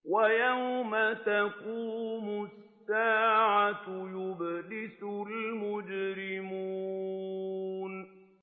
وَيَوْمَ تَقُومُ السَّاعَةُ يُبْلِسُ الْمُجْرِمُونَ